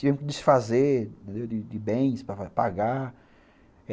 Tivemos que desfazer de de bens para pagar.